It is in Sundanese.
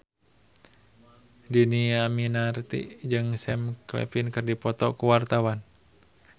Dhini Aminarti jeung Sam Claflin keur dipoto ku wartawan